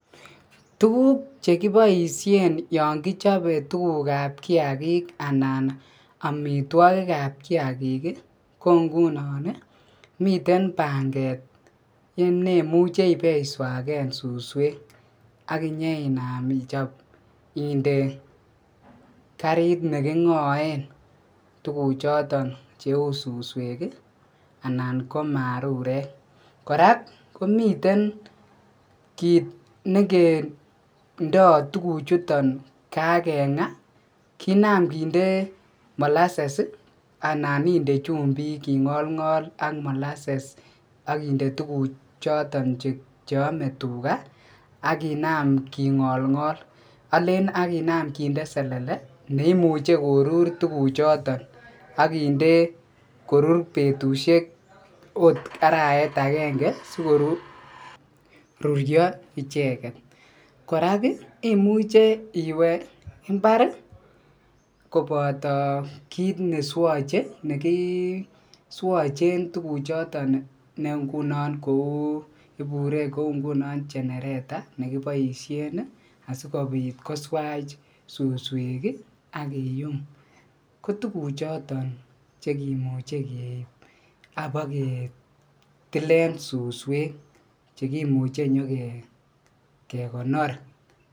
Tukuk chekiboishen yoon kichobe tukukab kiakik anan amitwokikab kaikik ko ngunon miten panget nemuche ibeiswaken suswek ak inyeinam ichob inde karit nekingoen tukuchoton cheu suswek anan ko arurek, kora komiten kiit n,ekindo tukuchuton kakenga kinam kinde molases anan inde chumbik ingolngol ak molases ak inde tukuchoton cheome tukaa ak kinam kingolngol oleen ak kinaam kinde selele neimuche korur tukuchoton ak kinde korur betushek okot arawet akenge sikorurio icheket, kora imuche iwee imbar kobo kiit neswoche nekiswochen tukuchoton ne ngunon kouu ibure ngunon kou genereta nekiboishen asikobit koswach suswek ak kiyum, ko tukuchoton chekimuche keib abaketilen suswek chekimuche kinyoke konor.